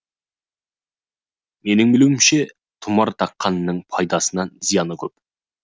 менің білуімше тұмар таққанның пайдасынан зияны көп